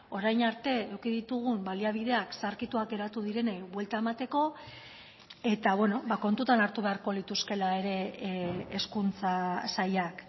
orain arte eduki ditugun baliabideak zaharkituak geratu direnei buelta emateko eta kontutan hartu beharko lituzkeela ere hezkuntza sailak